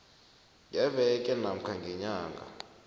ngeveke namkha ngenyanga